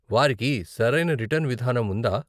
వారికి సరైన రిటర్న్ విధానం ఉందా?